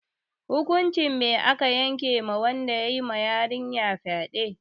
Hukuncin me aka yanke ma wanda yayi ma yarinyar fyade?